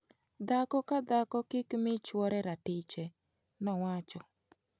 Dhako ka dhako kik mi chuore ratiche'' ,nowacho.